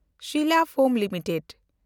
Sila foam limited